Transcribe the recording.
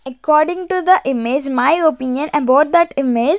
According to the image my opinion about that image --